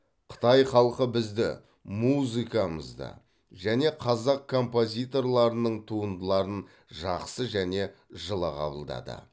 қытай халқы бізді музыкамызды және қазақ композиторларының туындыларын жақсы және жылы қабылдады